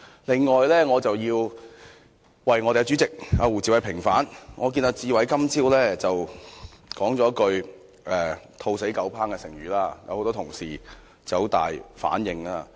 另外，我要為我們的主席胡志偉議員平反，他今早說出了一句成語"兔死狗烹"，結果有很多同事作出了很大反應。